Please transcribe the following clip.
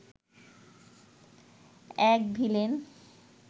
এক ভিলেন